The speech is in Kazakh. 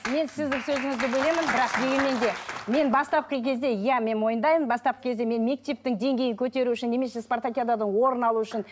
мен сіздің сөзіңізді бөлемін бірақ дегенмен де мен бастапқы кезде иә мен мойындаймын бастапқы кезде мен мектептің деңгейін көтеру үшін немесе спартакиадада орын алу үшін